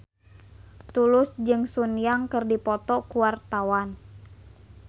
Tulus jeung Sun Yang keur dipoto ku wartawan